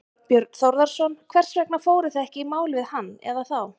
Þorbjörn Þórðarson: Hvers vegna fóruð þið ekki í mál við hann eða þá?